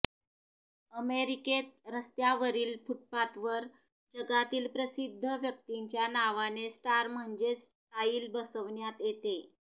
अमेरिकेत रस्त्यावरील फुटपाथवर जगातील प्रसिद्ध व्यक्तींच्या नावाने स्टार म्हणजेच टाईल बसविण्यात येते